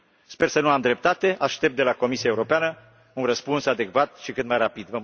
Sper să nu am dreptate, aștept de la Comisia Europeană un răspuns adecvat și cât mai rapid.